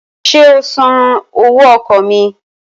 Ṣé o san owó ọkọ̀ mi?